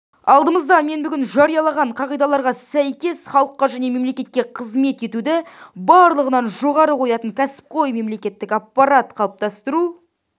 алдымызда мен бүгін жариялаған қағидаларға сәйкес халыққа және мемлекетке қызмет етуді барлығынан жоғары қоятын кәсіпқой мемлекеттік аппарат қалыптастыру